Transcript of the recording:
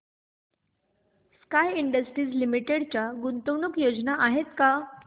sky Industries Limited च्या गुंतवणूक योजना आहेत का